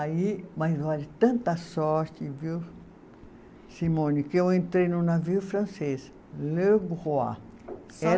Aí, mas olha, tanta sorte viu, Simone, que eu entrei num navio francês, Le Roi.